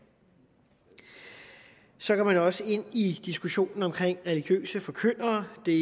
så går man også ind i diskussionen om religiøse forkyndere det